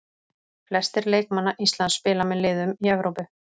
Flestir leikmanna Íslands spila með liðum í Evrópu.